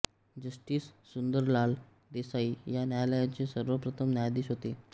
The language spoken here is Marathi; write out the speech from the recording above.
जस्टिस सुंदरलाल देसाई या न्यायालयाचे सर्वप्रथम न्यायाधीश होते